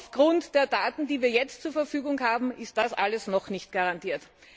Aufgrund der Daten, die wir jetzt zur Verfügung haben, ist das alles noch nicht garantiert.